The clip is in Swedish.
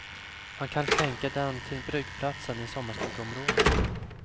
Han kan skänka den till bryggplatsen i sommarstugeområdet.